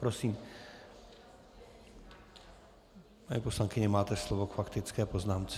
Prosím, paní poslankyně, máte slovo k faktické poznámce.